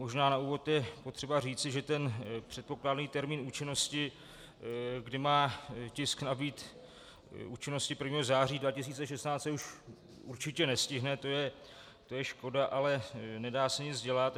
Možná na úvod je potřeba říci, že ten předpokládaný termín účinnosti, kdy má tisk nabýt účinnosti 1. září 2016, se už určitě nestihne, to je škoda, ale nedá se nic dělat.